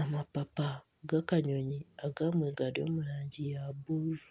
amapapa ga akanyonyi agamwe gari omurangi ya buruuru.